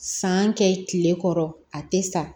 San kɛ kile kɔrɔ a tɛ sa